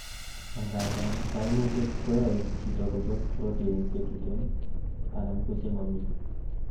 angandan kaimutyet koyoe chito kochop protein chetuten anan kochemomi